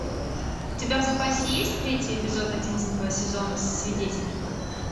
у тебя в запасе есть третий эпизод одиннадцатого сезона свидетель